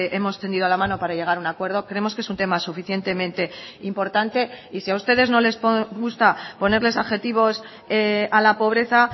hemos tendido la mano para llegar a un acuerdo creemos que es un tema suficientemente importante y si a ustedes no les gusta ponerles adjetivos a la pobreza